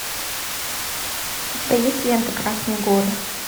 у тебя есть лента красные горы